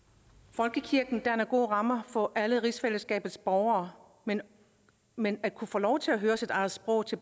folkekirken danner gode rammer for alle rigsfællesskabets borgere men men at kunne få lov til at høre sit eget sprog til